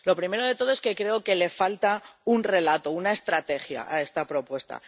Lo primero de todo es que creo que le falta un relato, una estrategia, a esta propuesta.